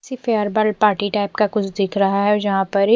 सी farewell party type का कुछ दिख रहा है जहा पर एक--